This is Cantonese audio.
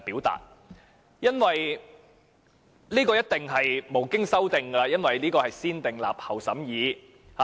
這一定是無經修訂的，因為這是"先訂立後審議"的法案。